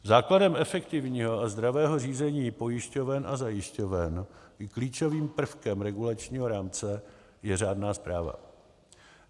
Základem efektivního a zdravého řízení pojišťoven a zajišťoven i klíčovým prvkem regulačního rámce je řádná správa.